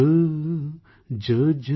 જોજો